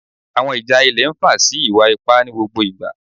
Awọn ija ilẹ nfa si iwa-ipa ni gbogbo igba